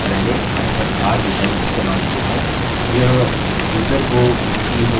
यह यूज़र को उसकी home directory के साथ हटाने के लिए है